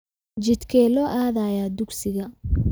Jidkee loo aadayaa dugsiga?